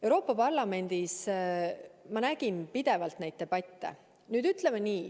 Euroopa Parlamendis ma nägin pidevalt neid debatte.